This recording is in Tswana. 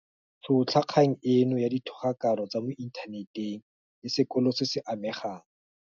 Tšhotlha kgang eno ya dithogakano tsa mo inthaneteng le sekolo se se amegang.